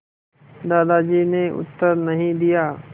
दादाजी ने उत्तर नहीं दिया